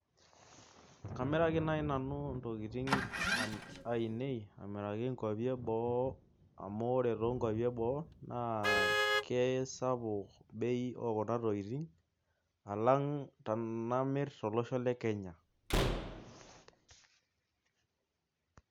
Kamiraki naaji nanu ntokitin ainei aamiraki nkuapi eboo. amu ore nkuapi eboo kisapuk bei ekuna tokitin amu ore tenamir tolosho le kenya